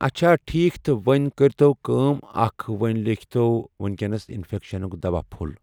اچھا ٹھیٖک تہٕ وۄنۍ کٔرۍ تو کٲم اَکھ وۄنۍ لیٖکھِتو ؤنۍکٮ۪نس اِنفیکشَنُک دَوا پھوٚلہ۔